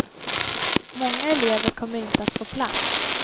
Många elever kommer inte att få plats.